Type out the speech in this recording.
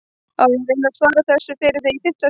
Á ég að reyna að svara þessu fyrir þig í fimmta sinn eða?